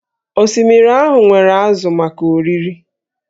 Osimiri ahụ nwere ázụ̀ maka oriri